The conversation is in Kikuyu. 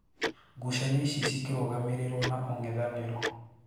Ngucanio ici shikirugamirirwo na ung'ithaniro.